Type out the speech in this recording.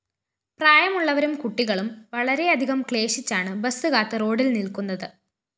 പ്രായമുള്ളവരും കുട്ടികളും വളരെയധികം ക്ലേശിച്ചാണ് ബസ് കാത്ത് റോഡില്‍ നില്‍ക്കുന്നത്